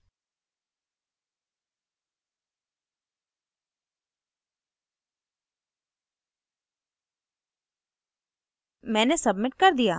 पुराना password